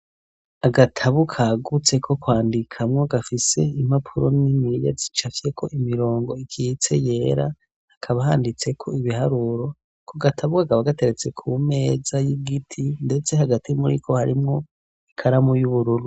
Agatabu kagutse ko kwandikamwo gafise impapuro niniya zicapfyko imirongo ikitse yera, hakaba handitseko ibiharuro, ku gatabu kakaba gateretse ku meza y'igiti ndetse hagati muriko harimwo ikaramu y'ubururu.